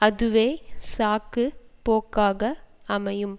அதுவே சாக்கு போக்காக அமையும்